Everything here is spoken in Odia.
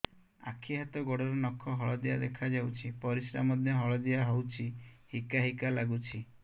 ଆଖି ହାତ ଗୋଡ଼ର ନଖ ହଳଦିଆ ଦେଖା ଯାଉଛି ପରିସ୍ରା ମଧ୍ୟ ହଳଦିଆ ହଉଛି ହିକା ହିକା ଲାଗୁଛି